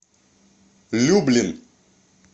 люблин